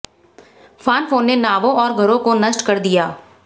Phanfone ने नावों और घरों को नष्ट कर दिया